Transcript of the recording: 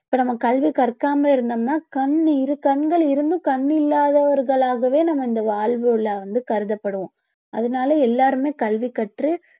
இப்ப நம்ம கல்வி கற்காம இருந்தோம்னா கண்ணு இரு கண்கள் இருந்தும் இல்லாதவர்களாகவே நம்ம இந்த வாழ்வில வந்து கருதப்படுவோம் அதனால எல்லாருமே கல்வி கற்று